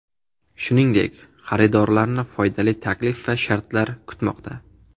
Shuningdek, xaridorlarni foydali taklif va shartlar kutmoqda.